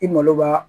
I malo b'a